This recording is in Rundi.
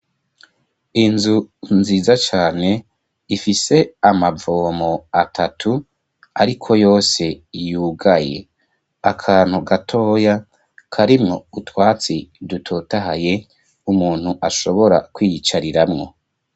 Inzu nziza cane ifise amavomo atatu ariko yose yugaye akantu gatoya karimo utwatsi dutotahaye umuntu ashobora kwiyicariramwo.